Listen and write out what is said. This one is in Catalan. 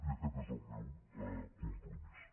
i aquest és el meu compromís